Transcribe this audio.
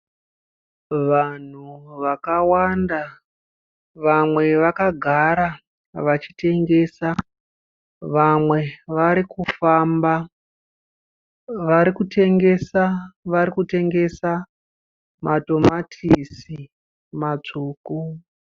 Vanhu vakawanda, vamwe vakagara vachitengesa. Vamwe varikufamba Varikutengesa, varikutengesa matamatisi matsvuku.